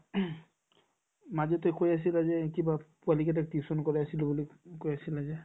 মাজতে কৈ আছিলে যে কিবা পোৱালিকেইটাক tuition কৰাইছিলো বুলি কৈ আছিলা যে